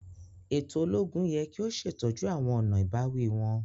Eto ologun yẹ ki o ṣetọju awọn ọna ibawi wọn.